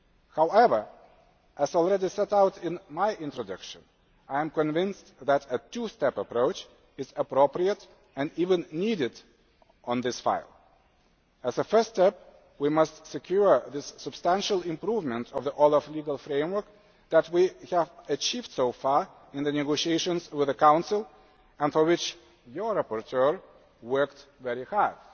However, as already set out in my introduction, I am convinced that a two step approach is appropriate and even needed on this file. As a first step, we must secure this substantial improvement of the OLAF legal framework, which we have achieved so far in the negotiations with the Council and for which your rapporteur has worked very hard.